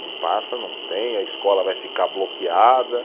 Não passa, não tem, a escola vai ficar bloqueada.